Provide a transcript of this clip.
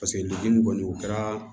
Paseke degun kɔni o kɛra